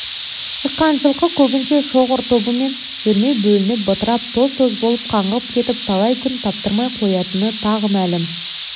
ыққан жылқы көбінше шоғыр тобымен жүрмей бөлініп бытырап тоз-тоз болып қаңғып кетіп талай күн таптырмай қоятыны тағы мәлім